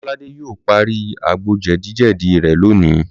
Lọ́ládé yóò parí àgbo jẹ̀díjẹ̀dí rẹ̀ lónìí